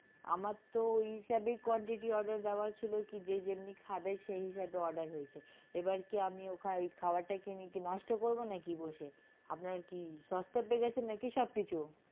আমারতো ওই হিসেবেই quantity order দেওয়া ছিল কি যে যেমনি খাবে সেই হিসেবে order হয়েছে এবার কি আমি খাওয়ার টাকে নিয়ে কি নষ্ট করবো নাকি বসে আপনারা কি সস্তা পেয়ে গেছেন নাকি সবকিছু?